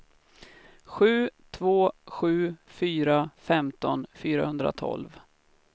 sju två sju fyra femton fyrahundratolv